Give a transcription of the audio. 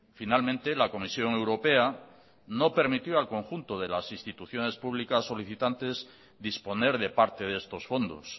finalmente la comisión europea no permitió al conjunto de las instituciones públicas solicitantes disponer de parte de estos fondos